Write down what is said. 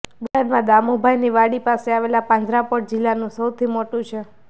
બોટાદમા દામુભાઈની વાડી પાસે આવેલ પાંજરાપોળ જિલ્લાનું સૌથી મોટુ છે